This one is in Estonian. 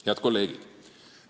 Head kolleegid!